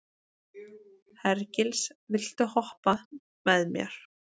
Hergils, viltu hoppa með mér?